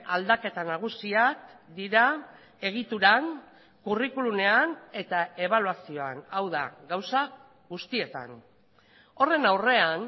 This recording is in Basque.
aldaketa nagusiak dira egituran curriculumean eta ebaluazioan hau da gauza guztietan horren aurrean